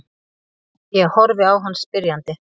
Ég horfi á hann spyrjandi.